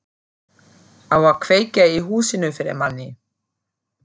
Á að kveikja í húsinu fyrir manni!